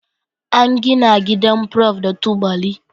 An gina gidan Prof da tubali